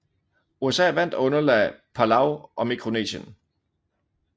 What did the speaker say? USA vandt og underlagde Palau og Mikronesien